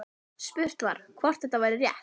Spurt var, hvort þetta væri rétt?